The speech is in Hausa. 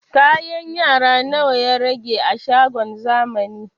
Kayan yara nawa ya rage a shagon zamani?